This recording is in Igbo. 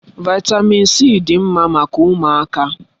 Vị́tamị́n c dị mma maka ụmụaka.